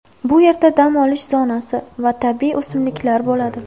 Bu yerda dam olish zonasi va tabiiy o‘simliklar bo‘ladi.